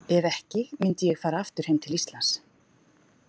Ef ekki, myndi ég fara aftur heim til Íslands.